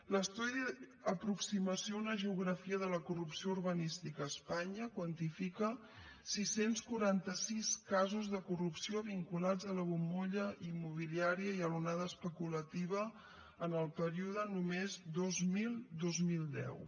l’estudi aproximació a una geografia de la corrupció urbanística a espanya quantifica sis cents i quaranta sis casos de corrupció vinculats a la bombolla immobiliària i a l’onada especulativa en el període només dos mil dos mil deu